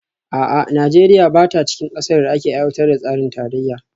A'a, Najeriya ba ta cikin kasar da ake aiwatar da tsarin tarayya?